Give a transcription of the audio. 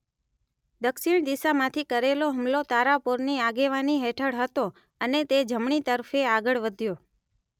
દક્ષિણ દિશામાંથી કરેલો હુમલો તારાપોરની આગેવાની હેઠળ હતો અને તે જમણી તરફે આગળ વધ્યો